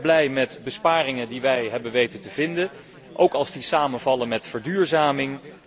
Ik ben erg blij met besparingen die wij hebben weten te vinden, ook als die samenvallen met verduurzaming.